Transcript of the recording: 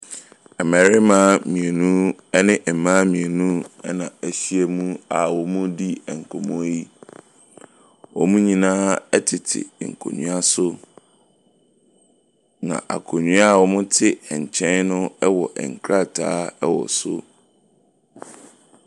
Mmarima mmienu ne mmaa mmienu na wɔahyia a wɔredi nkɔmmɔ yi. Wɔn nyinaa tete nkonnwa so, na akonnwa a wɔte nkyɛn no wɔ nkrataa wɔ so.